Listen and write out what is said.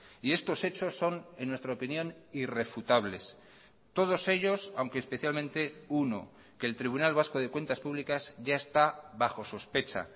y estos hechos son en nuestra opinión irrefutables todos ellos aunque especialmente uno que el tribunal vasco de cuentas públicas ya está bajo sospecha